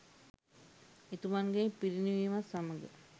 එතුමන්ගේ පිරිනිවීමත් සමගම